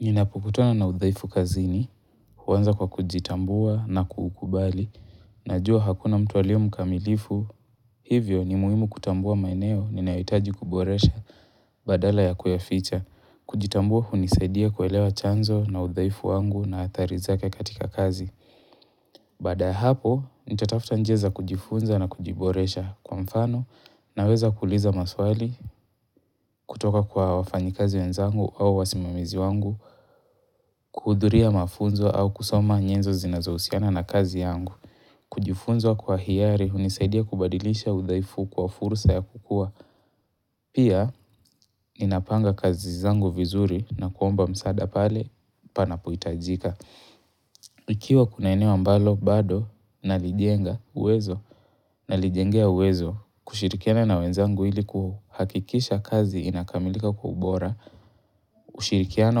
Ninapokutana na udhaifu kazini, huanza kwa kujitambua na kukubali, najua hakuna mtu alio mkamilifu, hivyo ni muhimu kutambua maeneo ninayohitaji kuboresha badala ya kuyaficha, kujitambua hunisaidia kuelewa chanzo na udhaifu wangu na athari zake katika kazi. Baada ya hapo, nitatafta njia za kujifunza na kujiboresha kwa mfano naweza kuuliza maswali kutoka kwa wafanyikazi wenzangu au wasimamizi wangu, kuhudhuria mafunzo au kusoma nyenzo zinazohusiana na kazi yangu. Kujifunza kwa hiari, hunisaidia kubadilisha udhaifu kwa fursa ya kukua. Pia, ninapanga kazi zangu vizuri na kuomba msaada pale panapoitajika. Ikiwa kuna eneo ambalo bado nalijenga uwezo nalijengea uwezo kushirikiana na wenzangu ilikuhakikisha kazi inakamilika kwa ubora, kushirikiana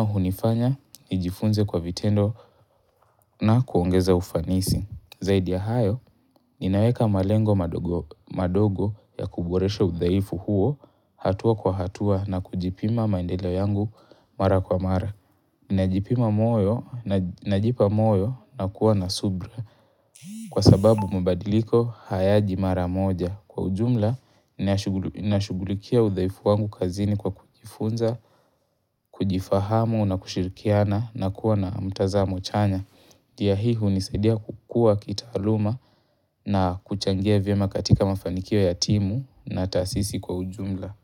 hunifanya, nijifunze kwa vitendo na kuongeza ufanisi. Zaidi ya hayo, ninaweka malengo madogo ya kuboresha udhaifu huo hatua kwa hatua na kujipima maendeleo yangu mara kwa mara. Ninajipima moyo na kuwa na subra kwa sababu mabadiliko hayaji mara moja. Kwa ujumla, ninashugulikia udhaifu wangu kazini kwa kujifunza, kujifahamu na kushirikiana na kuwa na mtazamo chanya. Njia hii hunisaidia kukua kitaaluma na kuchangia vyema katika mafanikio ya timu na taasisi kwa ujumla.